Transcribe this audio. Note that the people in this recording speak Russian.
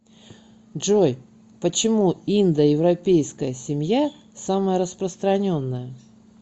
джой почему индоевропейская семья самая распространенная